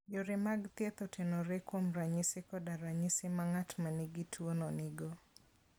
Yore mag thieth otenore kuom ranyisi koda ranyisi ma ng'at ma nigi tuwono nigo.